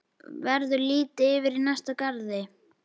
Verður litið yfir í næsta garð.